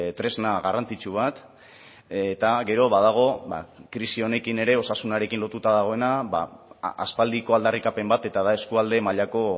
tresna garrantzitsu bat eta gero badago krisi honekin ere osasunarekin lotuta dagoena aspaldiko aldarrikapen bat eta da eskualde mailako